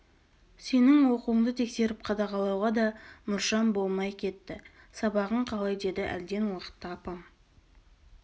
сенің оқуыңды тексеріп қадағалауға да мұршам болмай кетті сабағың қалай деді әлден уақытта апам